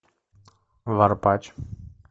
варпач